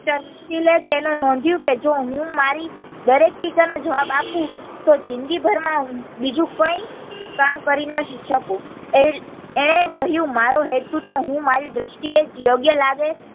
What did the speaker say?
તેને નોંધ્યું કે જો હું મારી દરેક ટીકા નો જવાબ આપું તો જિંદગી ભર માં બીજું કઈ કામ કરી નહિ શકું એ એનણે કહ્યું મારો હેતુ તો હું મારી દ્રષ્ટિ એ યોગ્ય લાગે